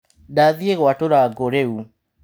Ndathiĩ gwatura ngũ rĩu.